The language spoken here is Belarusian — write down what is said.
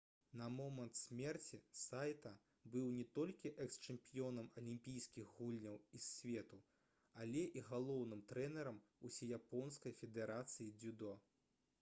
на момант смерці сайта быў не толькі экс-чэмпіёнам алімпійскіх гульняў і свету але і галоўным трэнерам усеяпонскай федэрацыі дзюдо